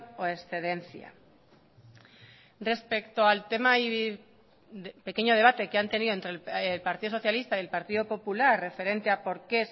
o excedencia respecto al tema y pequeño debate que han tenido entre el partido socialista y el partido popular referente a por qué